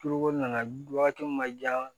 Turuko nana waati min ma jan